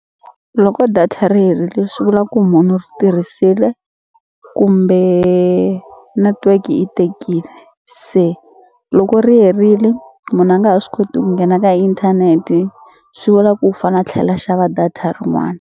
Loko data ri herile swi vula ku munhu u ri tirhisile kumbe network yi tekile se loko ri herili munhu a nga ha swi koti ku nghena ka inthanete swi vula ku u fane a tlhela a xava data rin'wani.